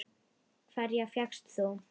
Hverja fékkst þú?